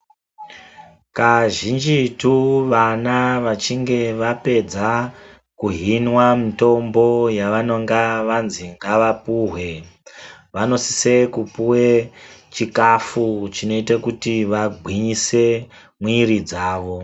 Kazhinjitu vana vachinge vapedza, kuhinwa mitombo yavanonga vanzi ngavapuhwe, vanosise kupuwe chikafu, chinoite kuti vagwinyise, mwiri dzavo.